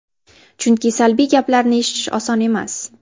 Chunki salbiy gaplarni eshitish oson emas.